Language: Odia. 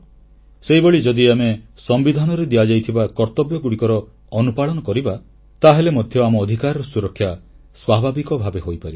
ସେହିଭଳି ଯଦି ଆମେ ସମ୍ବିଧାନରେ ଦିଆଯାଇଥିବା କର୍ତ୍ତବ୍ୟଗୁଡ଼ିକର ଅନୁପାଳନ କରିବା ତାହେଲେ ମଧ୍ୟ ଆମ ଅଧିକାରର ସୁରକ୍ଷା ସ୍ୱାଭାବିକ ଭାବେ ହୋଇପାରିବ